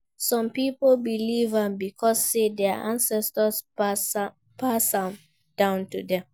Some pipo believe am because say their ancestor pass am down to dem